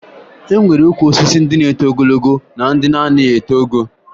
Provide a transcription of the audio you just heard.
E nwere ukwu osisi ndị na-eto ogologo na ndị na-anaghị eto ogo